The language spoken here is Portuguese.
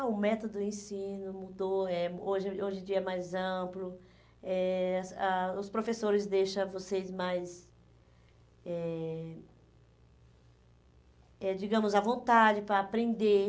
Ah, o método, o ensino mudou, eh hoje hoje em dia é mais amplo, eh ah os professores deixam vocês mais, eh eh digamos, à vontade para aprender.